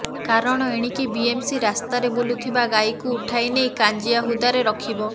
କାରଣ ଏଣିକି ବିଏମ୍ସି ରାସ୍ତାରେ ବୁଲୁଥିବା ଗାଈକୁ ଉଠାଇ ନେଇ କାଞ୍ଜିଆହୁଦାରେ ରଖିବ